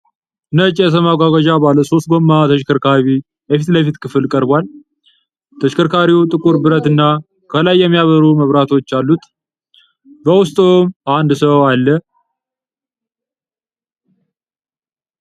ነጭ የሰው ማጓጓዣ ባለ ሶስት ጎማ ተሽከርካሪ የፊት ለፊት ክፍል ቀርቧል። ተሽከርካሪው ጥቁር ብረት እና ከላይ የሚያበሩ መብራቶች አሉት። ብውስጡም አንድ ሰው አለ፡፡